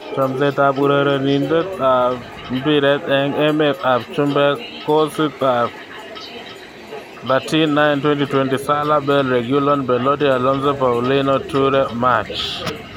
Chomset ab urerenet ab mbiret eng emet ab chumbek kotisap 13.09.2020: Salah, Bale, Reguilon, Belotti, Alonso, Paulinho, Toure, March